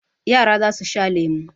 Yara za su sha lemu.